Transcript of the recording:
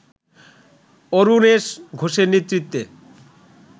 অরুণেশ ঘোষের নেতৃত্বে